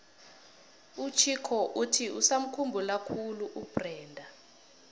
uchicco uthi usamukhumbula khulu ubrenda